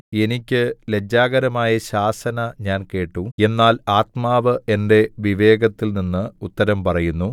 എനിയ്ക്ക് ലജ്ജാകരമായ ശാസന ഞാൻ കേട്ടു എന്നാൽ ആത്മാവ് എന്റെ വിവേകത്തിൽ നിന്ന് ഉത്തരം പറയുന്നു